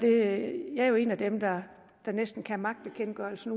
er jo en af dem der kan magtbekendtgørelsen